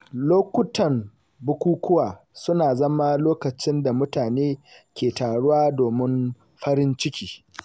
Lokutan bukukuwa suna zama lokacin da mutane ke taruwa domin farin ciki.